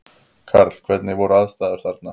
Karl: Hvernig voru aðstæður þarna?